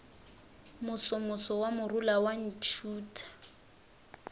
mosomoso wa morula wa ntšhutha